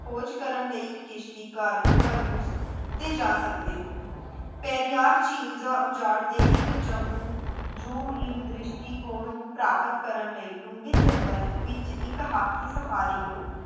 ਖੋਜ ਕਰਨ ਲਈ ਇੱਕ ਕਿਸ਼ਤੀਕਾਰ cruse ਤੇ ਜਾ ਸਕਦੇ ਹੋ, ਪੈਰੀਆਰ ਝੀਲ ਦਾ ਉਜਾੜ ਦੇ ਇੱਕ ਜੰਮੂ ਜੁਮ ਇਨ ਦ੍ਰਿਸ਼ਟੀਕੌਣ ਨੂੰ ਪ੍ਰਾਪਤ ਕਰਨ ਲਈ ਡੂੰਘੇ ਜੰਗਲ ਵਿੱਚ ਇੱਕ ਹਾਥੀ ਸਫਾਰੀ ਲਓ